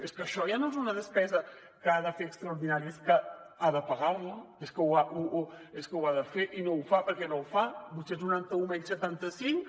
és que això ja no és una despesa que ha de fer extraordinària és que ha de pagar la és que ho ha de fer i no ho fa per què no ho fa vuit cents setanta un menys setanta cinc